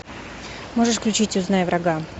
можешь включить узнай врага